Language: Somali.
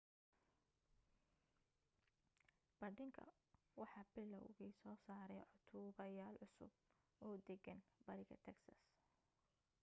bandhiga waxa bilaawgi soo saaray cod duuba yaal cusub oo deggan bariga texas